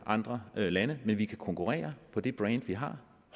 andre lande men vi kan konkurrere på det brand vi har